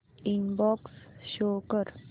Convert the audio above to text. inbox show कर